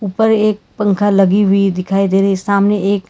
ऊपर एक पंखा लगी हुई दिखाई दे रही सामने एक --